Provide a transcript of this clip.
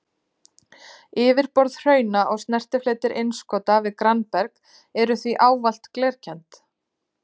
Yfirborð hrauna og snertifletir innskota við grannberg eru því ávallt glerkennd.